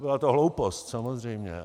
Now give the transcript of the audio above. Byla to hloupost, samozřejmě.